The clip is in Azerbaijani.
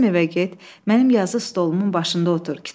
Bizim evə get, mənim yazı stolumun başında otur.